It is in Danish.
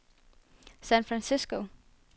San Francisco